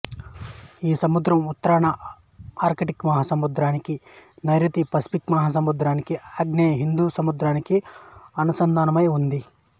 ఈ సముద్రం ఉత్తరాన ఆర్కిటిక్ మహాసముద్రానికి నైరుతిన పసిఫిక్ మహాసముద్రానికి ఆగ్నేయాన హిందూ మహాసముద్రానికి అనుసంధానమై ఉంది